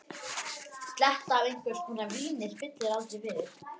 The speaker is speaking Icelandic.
Sletta af einhvers konar víni spillir aldrei fyrir.